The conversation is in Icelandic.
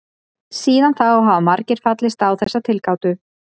Síðan þá hafa margir fallist á þessa tilgátu.